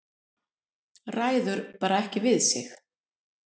Ræður bara ekki við sig.